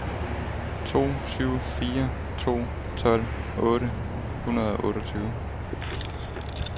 to syv fire to tolv otte hundrede og otteogtyve